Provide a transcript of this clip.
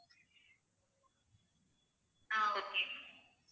ah okay ma'am